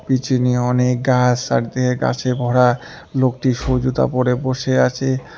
পিচিনে অনেক গাছ সারদিকে গাছে ভরা লোকটি শু জুতা পরে বসে আছে।